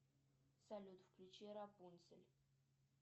салют включи рапунцель